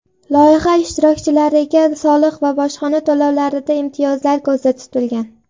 Loyiha ishtirokchilariga soliq va bojxona to‘lovlarida imtiyozlar ko‘zda tutilgan.